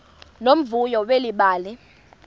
nomvuyo leli bali